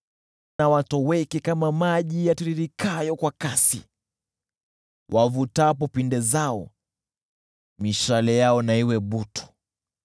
Na watoweke kama maji yapitayo kwa kasi, wavutapo pinde zao, mishale yao na iwe butu.